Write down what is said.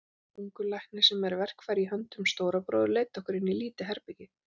Ungur læknir, sem er verkfæri í höndum Stóra bróður, leiddi okkur inn í lítið herbergi.